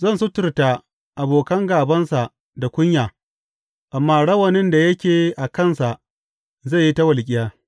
Zan suturta abokan gābansa da kunya, amma rawanin da yake a kansa zai yi ta walƙiya.